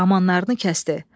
Amanlarını kəsdi.